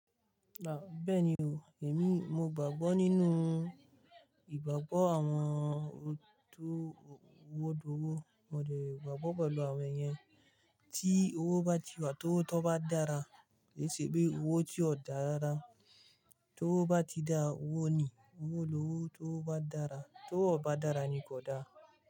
Rárá, bẹ́ẹ̀ni o, èmi mo gbàgbọ́ nínú ìgbàgbọ́ àwọn tó owó dọ́wó, mo dẹ̀ gbàgbọ́ pẹ̀lú àwọn èèyàn tí owó bá ti wà, tó bá dára, èṣì pé owó tí ò dára rárá ti owo bá ti dá owó ni, owó ló tó bá dára, tó bá dàrà ni kò dá.